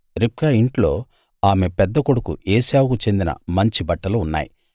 రిబ్కా ఇంట్లో ఆమె పెద్ద కొడుకు ఏశావుకు చెందిన మంచి బట్టలు ఉన్నాయి